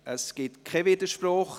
– Es gibt keinen Widerspruch.